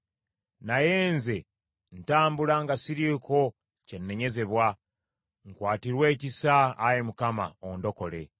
Naye nze ntambula nga siriiko kye nnenyezebwa; nkwatirwa ekisa, Ayi Mukama , ondokole.